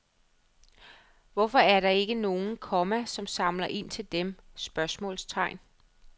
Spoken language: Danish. Hvorfor er der ikke nogen, komma som samler ind til dem? spørgsmålstegn